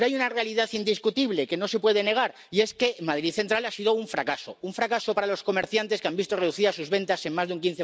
Pero hay una realidad indiscutible, que no se puede negar, y es que Madrid Central ha sido un fracaso un fracaso para los comerciantes, que han visto reducidas sus ventas en más de un